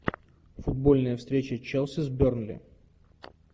футбольная встреча челси с бернли